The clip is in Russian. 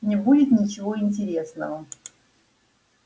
не будет ничего интересного